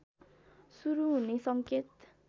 सुरु हुने सङ्केत